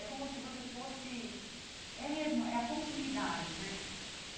É como se você fosse... É mesmo, é a continuidade, né?